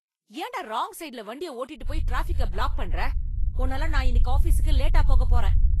ஏன்டா ராங் சைட்ல வண்டிய ஓட்டிட்டுப் போய் ட்ராஃபிக்க பிளாக் பண்ற? உன்னால நான் இன்னிக்கு ஆஃபீசுக்கு லேட்டா போகப் போறேன்.